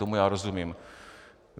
Tomu já rozumím.